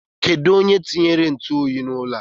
Kedụ onye tinyere ntụoyi n'ụlọ a?